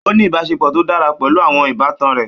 Ó ní ìbáṣepọ̀ tó dára pẹ̀lú àwọn ìbátan rẹ̀.